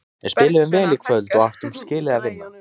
Við spiluðum vel í kvöld og áttum skilið að vinna.